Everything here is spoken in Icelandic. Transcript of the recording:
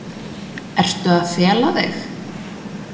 Ertu að fela þig?